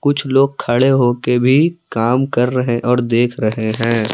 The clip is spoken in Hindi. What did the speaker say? कुछ लोग खड़े हो के भी काम कर रहे और देख रहे हैं।